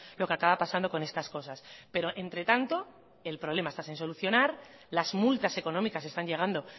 lo que acaba pasando con estas cosas pero entre tanto el problema está sin solucionar las multas económicas están llegando